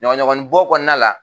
Ɲɔgɔnɲɔgɔnninbɔ kɔnɔna la